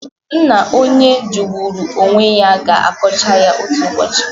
Nna onye jọgburu onwe ya ga-akọcha ya otu ụbọchị.